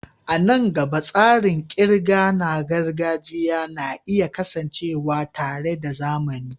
A nan gaba, tsarin ƙirga na gargajiya na iya kasancewa tare da na zamani.